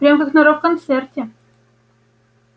прям как на рок-концерте